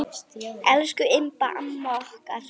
Elsku Imba amma okkar.